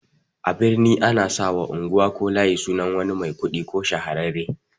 A birni ana sawa unguwa ko layi sunan wani mai kuɗi ko shahararre